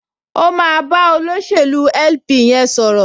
O máa bá olóṣèlú LP yẹn sọ̀rọ̀